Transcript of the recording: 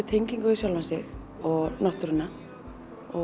tengingu við sjálfan sig og náttúruna og